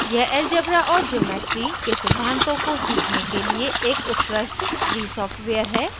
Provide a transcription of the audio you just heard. यह algebra और geometry के सिद्धान्तों को सीखने के लिए एक उत्कृष्ट free सॉफ्टवेयर है